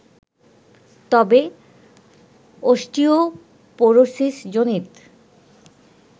তবে অস্টিওপোরোসিসজনিত